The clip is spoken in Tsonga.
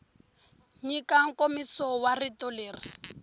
nyika nkomiso wa rito leri